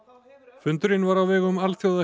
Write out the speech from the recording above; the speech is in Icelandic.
fundurinn var á vegum